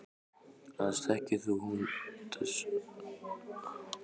Annars þekkir hún þessa krakka ekki neitt.